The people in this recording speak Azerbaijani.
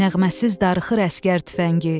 Nəğməsiz darıxır əsgər tüfəngi.